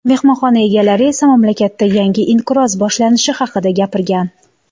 Mehmonxonalar egalari esa mamlakatda yangi inqiroz boshlanishi haqida gapirgan.